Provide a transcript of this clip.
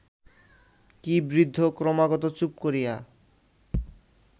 কি বৃদ্ধ ক্রমাগত চুপ করিয়া